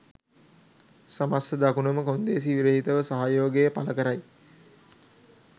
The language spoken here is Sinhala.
සමස්ථ දකුණම කොන්දේසි විරහිතව සහයෝගය පළකරයි